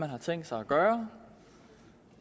har tænkt sig at gøre